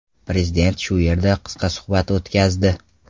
Prezidentlar shu yerda qisqa suhbat o‘tkazdi.